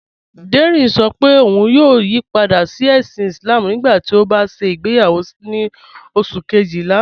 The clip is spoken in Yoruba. Dẹrín ṣọ́ pé ọ̀un yóò yípadà sí èṣìn Islám nígbàtí ó bá ṣẹ igbeyàwọ ni oṣù̀ kẹ́jìlá